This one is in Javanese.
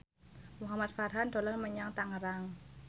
Muhamad Farhan dolan menyang Tangerang